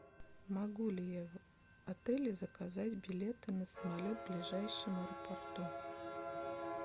могу ли я в отеле заказать билеты на самолет в ближайшем аэропорту